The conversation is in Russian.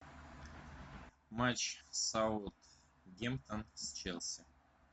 матч саутгемптон с челси